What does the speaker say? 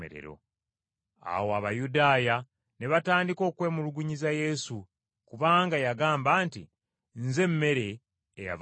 Awo Abayudaaya ne batandika okwemulugunyiza Yesu, kubanga yabagamba nti, “Nze mmere eyava mu ggulu.”